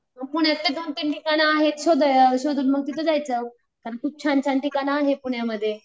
मग पुण्यातले दोन तीन ठिकाण आहेत शोध अ शोधून मग तिथं जायचं, खूप छान छान ठिकाण आहेत पुन्यामध्ये.